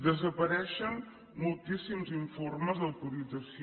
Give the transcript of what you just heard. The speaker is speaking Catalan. desapareixen moltíssims informes d’autorització